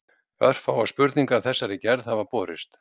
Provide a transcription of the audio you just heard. Örfáar spurningar af þessari gerð hafa borist.